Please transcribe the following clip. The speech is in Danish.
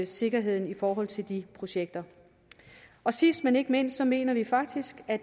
sikkerheden i forhold til de projekter sidst men ikke mindst mener vi faktisk at